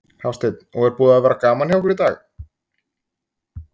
Hafsteinn: Og er búið að vera gaman hjá ykkur í dag?